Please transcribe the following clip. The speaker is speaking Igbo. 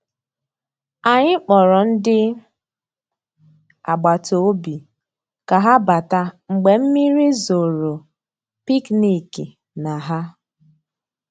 Ànyị́ kpọ̀rọ́ ndị́ àgbàtà òbí ká há batà mgbeé mmírí zòró pìkníkì ná há.